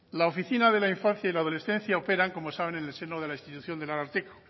la oficina de la infancia y adolescencia opera como saben en el seno de la institución del ararteko